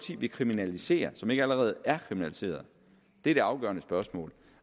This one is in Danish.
vil kriminalisere som ikke allerede er kriminaliseret det er det afgørende spørgsmål